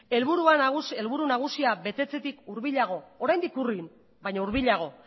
helburu nagusia betetzetik hurbilago oraindik urrun baina hurbilago